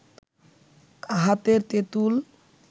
হাতের তেঁতুল